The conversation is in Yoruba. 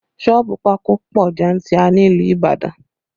Sọ́ọ̀bù pákó pọ jantirer ní ìlú Ibadan